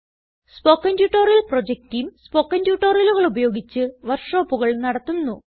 spoken tutorial project team spoken ട്യൂട്ടോറിയലുകൾ ഉപയോഗിച്ച് വർക്ക് ഷോപ്പുകൾ നടത്തുന്നു